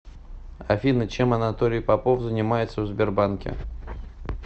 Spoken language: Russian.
афина чем анатолий попов занимается в сбербанке